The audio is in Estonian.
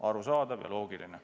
Arusaadav ja loogiline.